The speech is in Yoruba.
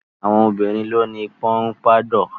Àwọn obìnrin ló ni pọnpádọ̀.